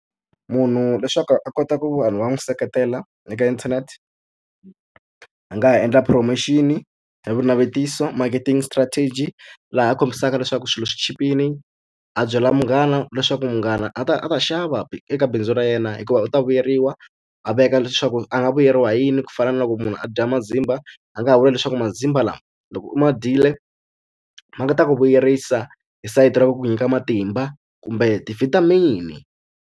Munhu leswaku a kota ku vanhu va n'wi seketela eka internet, a nga ha endla promotion-i ya vunavetiso marketing strategy. Laha kombisaka leswaku swilo swi chipile, a byela munghana leswaku munghana a ta a ta xava eka bindzu ra yena hikuva u ta vuyeriwa. A veka leswaku a nga vuyeriwa hi yini ku fana na loko munhu a dya mazimba, a nga ha vula leswaku mazimba lama loko u ma dyile ma nga ta ku vuyerisa hi sayiti ra ku ku nyika matimba kumbe ti-vitamin-i.